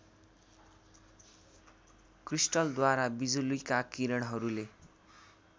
क्रिस्टलद्वारा बिजुलीका किरणहरूले